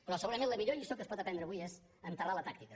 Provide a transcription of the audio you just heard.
però segurament la millor lliçó que es pot aprendre avui és enterrar la tàctica